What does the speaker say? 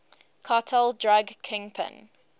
cartel drug kingpin